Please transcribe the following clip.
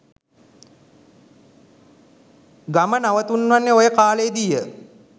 ගම නතුවන්නේ ඔය කාලයේ දීය.